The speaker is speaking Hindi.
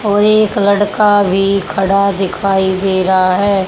और एक लड़का भी खड़ा दिखाई दे रहा है।